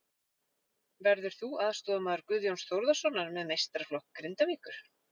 Verður þú aðstoðarmaður Guðjóns Þórðarsonar með meistaraflokk Grindavíkur?